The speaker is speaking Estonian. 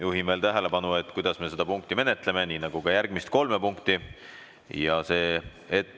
Juhin veel tähelepanu, kuidas me seda punkti menetleme, nii nagu ka järgmist kolme punkti.